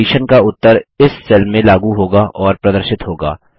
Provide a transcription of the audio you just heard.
condition का उत्तर इस सेल में लागू होगा और प्रदर्शित होगा